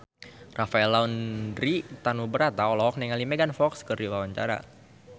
Rafael Landry Tanubrata olohok ningali Megan Fox keur diwawancara